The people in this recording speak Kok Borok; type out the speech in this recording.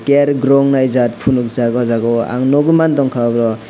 eyar grow wngnai jat ponok jak o jaga o ang nogoi mang tongka oro.